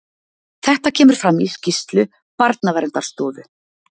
Þetta kemur fram í skýrslu Barnaverndarstofu